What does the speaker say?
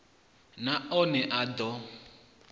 na one a d o